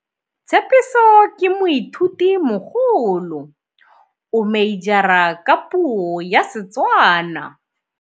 Tshepiso ke moithutimogolo, o meijara ka puo ya Setswana.